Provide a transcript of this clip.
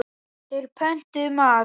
Þeir pöntuðu mat.